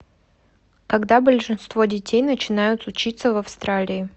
когда большинство детей начинают учиться в австралии